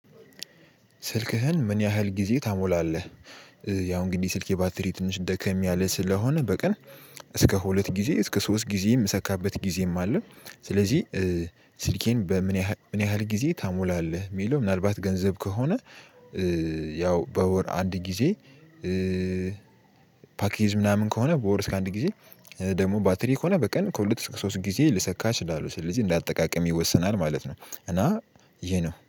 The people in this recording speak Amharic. ስልክህን ምን ያህል ጊዜ ታሞላለህ? ያው እንግዲህ ስልኬ ባትሪ ትንሽ ደከም ያለ ስለሆነ በቀን እስከ ሁለት ጊዜ እሰከ ሶስት ጊዜ ምሰካበት ጊዜም አለ። ስለዚህ ስልኬን በምን ያህል ምን ያህል ጊዜ ታሞላለህ? ሚለው ምን አልባት ገንዘብ ከሆነ። ያው በወር አንድ ጊዜ። ፓኬጅ ምናምን ከሆነ በወር እስከ አንድ ጊዜ። ደግሞ ባትሪ ከሆነ በቀን ከሁለት እስከ ሶስት ጊዜ ልሰካች እችላለሁ ስለዚህ እንደ አጠቃቀሜ ይወሰናል ማለት ነው። እና ይሄ ነው